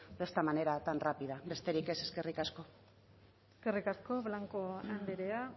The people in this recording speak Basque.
de esta manera tan rápida besterik ez eskerrik asko eskerrik asko blanco andrea